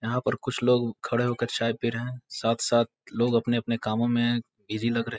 यहाँ पर कुछ लोग खड़े होकर चाय पी रहे हैं साथ-साथ लोग अपने-अपने कामो में बिजी लग रहे --